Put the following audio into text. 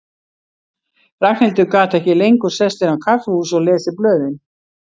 Ragnhildur gat ekki lengur sest inn á kaffihús og lesið blöðin.